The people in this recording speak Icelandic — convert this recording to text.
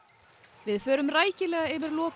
við förum rækilega yfir lokaleik